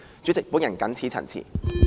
主席，我謹此陳辭。